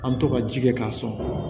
An bɛ to ka ji kɛ k'a sɔn